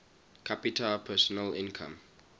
capita personal income